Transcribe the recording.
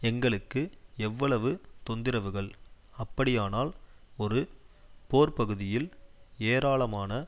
எங்களுக்கு எவ்வளவு தொந்திரவுகள் அப்படியானால் ஒரு போர்ப்பகுதியில் ஏராளமான